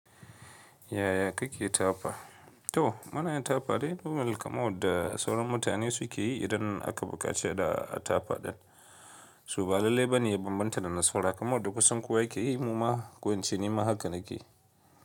Yaya kake tafa? To muna yin tafa dai dole kaman wanda sauran mutane suke yi idan aka buƙace da tafa ɗin. So ba lalle bane in manta da na saura kaman wanda kusan kowa yake yi muma ko in ce nima haka nake.